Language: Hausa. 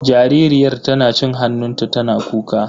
Jaririyar tana cin hannunta tana kuka.